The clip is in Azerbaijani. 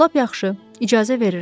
Lap yaxşı, icazə verirəm.